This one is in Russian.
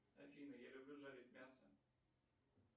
афина я люблю жарить мясо